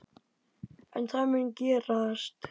En það mun gerast.